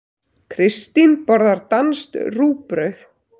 Kristín borðar danskt rúgbrauð.